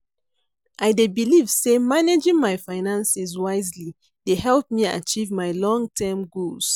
I dey believe say managing my finances wisely dey help me achieve my long-term goals.